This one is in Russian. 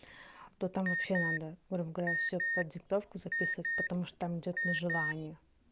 то там вообще надо грубо говоря все под диктовку записывать потому что там идёт на желание